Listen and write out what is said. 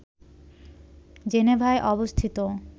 জেনেভায় অবস্থিত